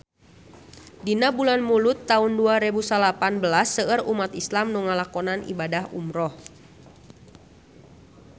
Dina bulan Mulud taun dua rebu salapan belas seueur umat islam nu ngalakonan ibadah umrah